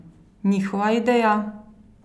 Njihova ideja?